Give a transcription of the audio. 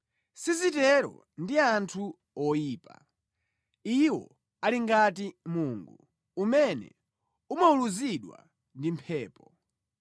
Sizitero ndi anthu oyipa! Iwo ali ngati mungu umene umawuluzidwa ndi mphepo.